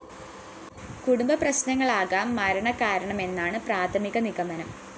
കുടുംബപ്രശ്‌നങ്ങളാകാം മരണകാരണമെന്നാണു പ്രാഥമിക നിഗമനം